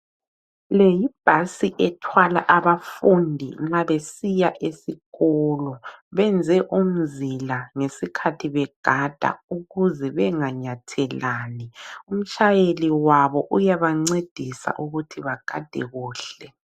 Le yibhasi ethwala abafundi nxa besiya esikolo. Benze umzila ngesikhathi begada ukuze benganyathelani. Umtshayeli wabo uyabancedisa ukuthi bagade kuhle.